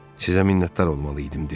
Sizə minnətdar olmalı idim,